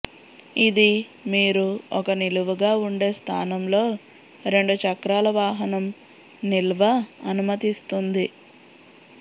ఇది మీరు ఒక నిలువుగా ఉండే స్థానం లో రెండు చక్రాల వాహనం నిల్వ అనుమతిస్తుంది